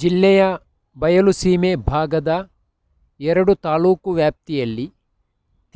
ಜಿಲ್ಲೆಯ ಬಯಲುಸೀಮೆ ಭಾಗದ ಎರಡು ತಾಲೂಕು ವ್ಯಾಪ್ತಿಯಲ್ಲಿ